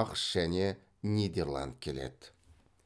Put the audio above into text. ақш және нидерланд келеді